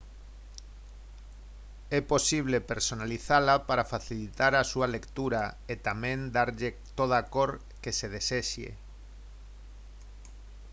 é posible personalizala para facilitar a súa lectura e tamén darlle toda a cor que se desexe